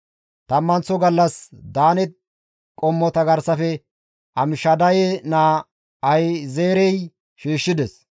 Tammanththo gallas Daane qommota garsafe Amishadaye naa Ahi7ezeerey shiishshides.